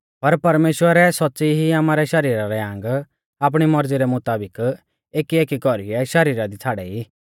पर परमेश्‍वरै सौच़्च़ी ई आमारै शरीरा रै आंग आपणी मौरज़ी रै मुताबिक एकीएकी कौरीऐ शरीरा दी छ़ाड़ै ई